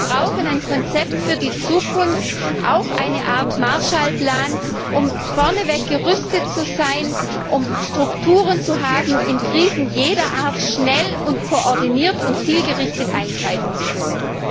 Wir brauchen ein Konzept für die Zukunft, auch eine Art Marshallplan, um gerüstet zu sein, um Strukturen zu haben, in Krisen jeder Art schnell und koordiniert und zielgerichtet eingreifen zu können.